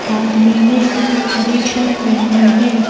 आदमी ने हरी शर्ट पहनी है।